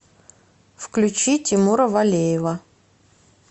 включи тимура валеева